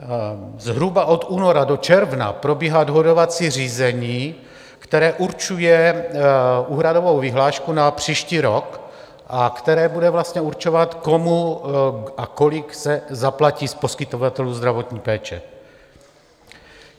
Zhruba od února do června probíhá dohodovací řízení, které určuje úhradovou vyhlášku na příští rok a které bude určovat, komu a kolik se zaplatí z poskytovatelů zdravotní péče.